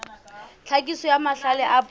tlhakiso ya mahlale a puo